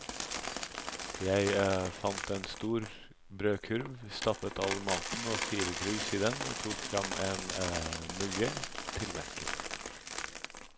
Jeg fant en stor brødkurv, stappet all maten og fire krus i den og tok frem en mugge til melken.